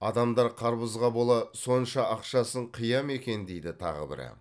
адамдар қарбызға бола сонша ақшасын қия ма екен дейді тағы бірі